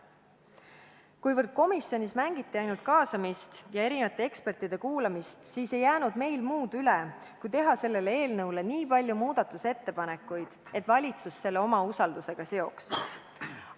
Kuivõrd komisjonis ainult mängiti kaasamist ja ekspertide kuulamist, siis ei jäänud meil muud üle, kui teha selle eelnõu kohta nii palju muudatusettepanekuid, et valitsus selle enda usaldamisega seoks.